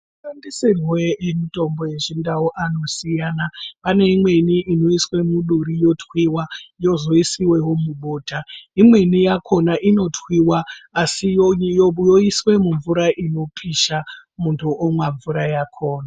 Mashandisirwe emutombo yechindau anosiyana pane imweni inoiswe muduri yotwuwa yozoiswewo mubota imweni yakona inotwuwa asi yoiswa mumvura inopisha muntu omwa mvura yakona.